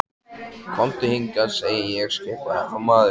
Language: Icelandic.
Komdu hingað, segi ég skipaði þá maðurinn.